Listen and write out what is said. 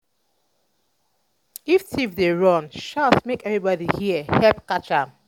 if thief um dey um run shout make everybodi hear help catch am.